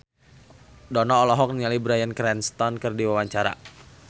Dono olohok ningali Bryan Cranston keur diwawancara